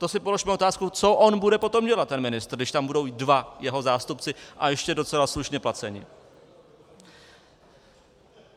To si položme otázku, co on bude potom dělat ten ministr, když tam budou dva jeho zástupci a ještě docela slušně placení.